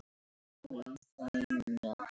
og miklu megna.